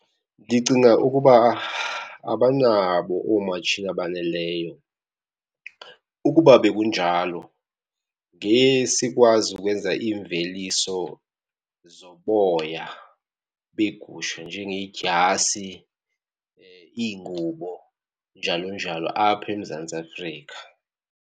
Ndicinga ukuba abanabo oomatshini abaneleyo. Ukuba bekunjalo ngesikwazi ukwenza iimveliso zoboya beegusha njengeedyasi, iingubo njalo njalo apha eMzantsi Afrika.